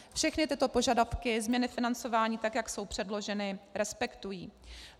Všechny tyto požadavky změny financování, tak jak jsou předloženy, respektují.